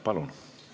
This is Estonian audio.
Palun!